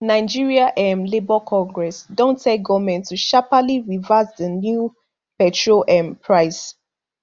nigeria um labour congress don tell goment to sharpely reverse di new petrol um price